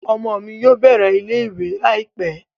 Ọmọ mi yóò bẹ̀rẹ̀ ilé ìwé láìpẹ́